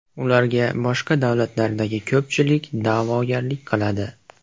Ularga boshqa davlatlardagi ko‘pchilik da’vogarlik qiladi.